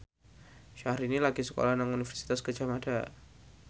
Syahrini lagi sekolah nang Universitas Gadjah Mada